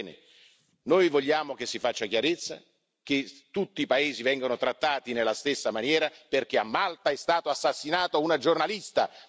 Bene, noi vogliamo che si faccia chiarezza, che tutti i paesi vengano trattati nella stessa maniera, perché a Malta è stata assassinata una giornalista.